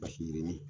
Basi yirinin